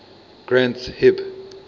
granth hib